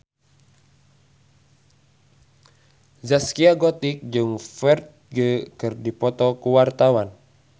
Zaskia Gotik jeung Ferdge keur dipoto ku wartawan